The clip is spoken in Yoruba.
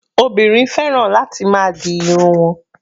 Obìnrin fẹ́ràn láti máa di irun wọn.